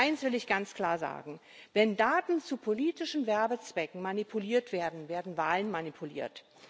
Eins will ich ganz klar sagen Wenn Daten zu politischen Werbezwecken manipuliert werden, werden Wahlen manipuliert.